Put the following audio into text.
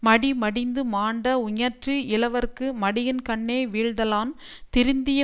மடி மடிந்து மாண்ட உஞற்று இலவர்க்கு மடியின்கண்ணே வீழ்தலான் திருந்திய